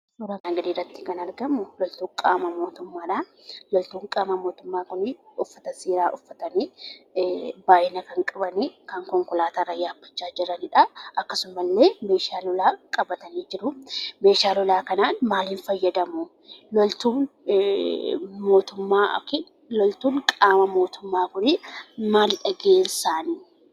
Suuraan armaan gadiitti argamu qaama mootummaadha. Loltoonni qaama mootummaa kun uffata seeraa uffatanii baay'ina kan qaban konkolaataa kan yaabbachaa jiranidha. Akkasumallee meeshaa lolaa qabatanii jiru. Meeshaa lolaa kana maaliin fayyadamu? Loltuun qaama mootummaa kun maalidha gaheen isaanii?